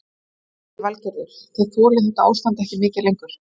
Lillý Valgerður: Þið þolið þetta ástand ekki mikið lengur?